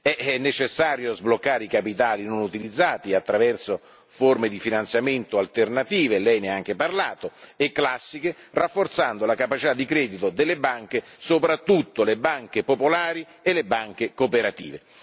È necessario sbloccare i capitali non utilizzati attraverso forme di finanziamento alternative lei ne ha anche parlato e classiche, rafforzando la capacità di credito delle banche, soprattutto le banche popolari e le banche cooperative.